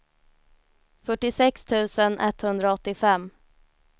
fyrtiosex tusen etthundraåttiofem